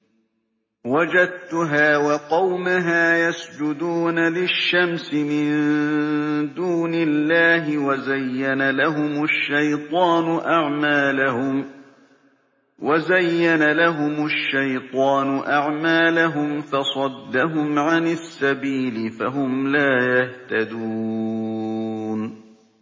وَجَدتُّهَا وَقَوْمَهَا يَسْجُدُونَ لِلشَّمْسِ مِن دُونِ اللَّهِ وَزَيَّنَ لَهُمُ الشَّيْطَانُ أَعْمَالَهُمْ فَصَدَّهُمْ عَنِ السَّبِيلِ فَهُمْ لَا يَهْتَدُونَ